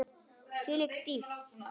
Þvílík dýpt, þvílíkt drama.